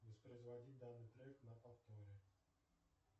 воспроизводи данный трек на повторе